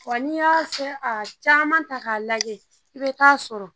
Wa n'i y'a fɛn a caman ta k'a lajɛ i bɛ taa sɔrɔ